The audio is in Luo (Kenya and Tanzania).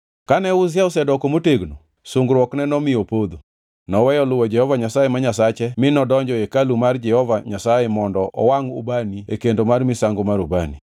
Kane Uzia osedoko motegno, sungruokne nomiyo opodho. Noweyo luwo Jehova Nyasaye ma Nyasache mi nodonjo e hekalu mar Jehova Nyasaye mondo owangʼ ubani e kendo mar misango mar ubani.